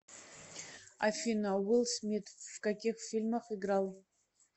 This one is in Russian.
афина уилл смит в каких фильмах играл